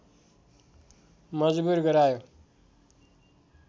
मजबुर गरायो